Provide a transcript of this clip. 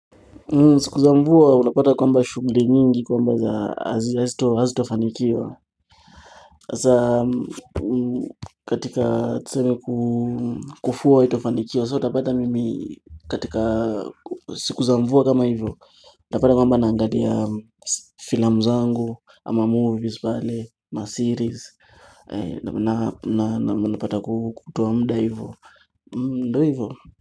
Siku za mvua unapata kwamba shughuli nyingi kwamba hazitafanikiwa hasa katika tuseme kufua haitafanikiwa So utapata mimi katika siku za mvua kama hivyo Utapata kwamba naangalia filamu zangu ama movies pale na series na unapata kutoa muda hivyo ndo hivyo.